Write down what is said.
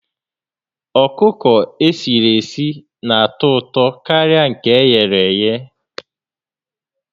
Ọkụkọ esiri esi n'atọ ụtọ karịa nke e ghere éghé